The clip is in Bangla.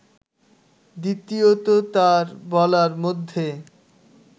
দ্বিতীয়ত তাঁর বলার মধ্যে